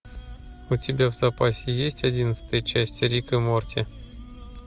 у тебя в запасе есть одиннадцатая часть рик и морти